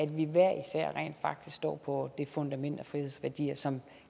stå på det fundament af frihedsværdier som